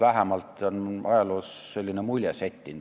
Vähemalt on ajaloost selline mulje settinud.